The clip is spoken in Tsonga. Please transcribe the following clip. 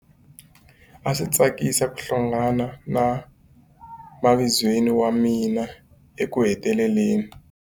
A swi tsakisa ku hlangana na mavizweni wa mina ekuheteleleni.